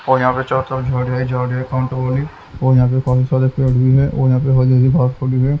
और यहां पे और यहां पे बहुत सारे पेड़ भी है और यहां पे --